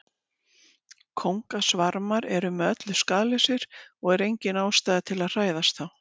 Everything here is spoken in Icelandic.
kóngasvarmar eru með öllu skaðlausir og er engin ástæða til að hræðast þá